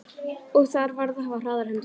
Og þar varð að hafa hraðar hendur.